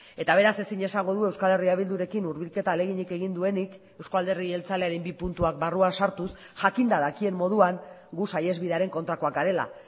eta beraz ezin esango du euskal herria bildurekin hurbilketa ahaleginik egin duenik euzko alderdi jeltzalearen bi puntuak barruan sartuz jakinda dakien moduan gu saihesbidearen kontrakoak garela